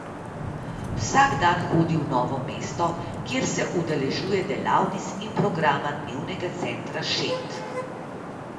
Vsak dan hodi v Novo mesto, kjer se udeležuje delavnic in programa dnevnega centra Šent.